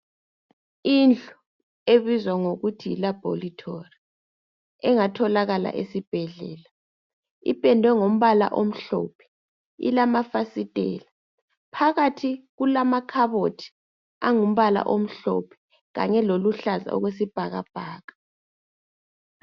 Indlu ebizwa ngokuthi yi laboratory engatholakala esibhedlela ipedwe ngombala omhlophe ilamafastela phakathi kulamakhabothi angumbala omhlophe kanye loluhlaza okwesibhakabhaka